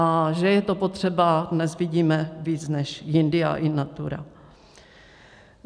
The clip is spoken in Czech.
A že je to potřeba, dnes vidíme víc než jindy a in natura.